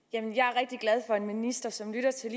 jeg er rigtig for en minister som lytter til